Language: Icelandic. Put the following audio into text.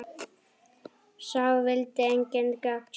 Sá vildi engin gögn sjá.